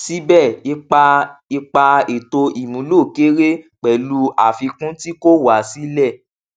síbẹ ipa ipa ètò ìmúlò kéré pẹlú àfikún tí kò wá sílẹ